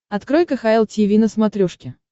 открой кхл тиви на смотрешке